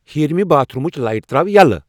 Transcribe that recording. ہیٚرمہِ باتھ روٗمٕچ لایٹہٕ تراو یَلہٕ